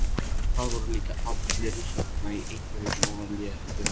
Það voru líka allir hérna í einhverju svona léttu.